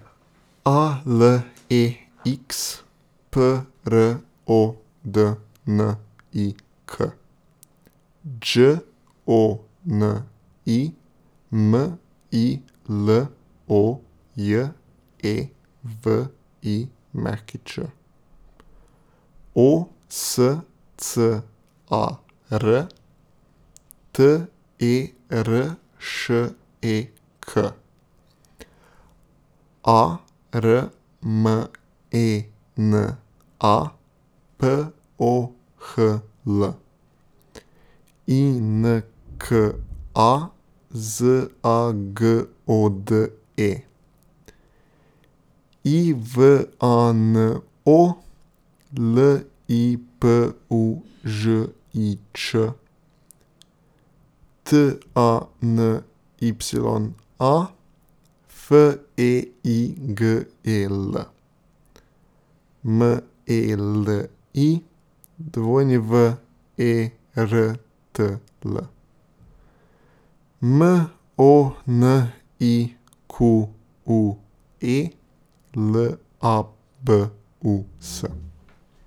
A L E X, P R O D N I K; Đ O N I, M I L O J E V I Ć; O S C A R, T E R Š E K; A R M E N A, P O H L; I N K A, Z A G O D E; I V A N O, L I P U Ž I Č; T A N Y A, F E I G E L; M E L I, W E R T L; M O N I Q U E, L A B U S.